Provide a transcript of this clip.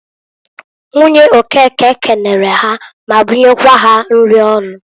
Nwunye Okeke kenere ha ma bunyekwa ha nrị ọrụ.